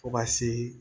Fo ka se